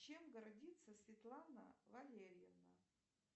чем гордится светлана валерьевна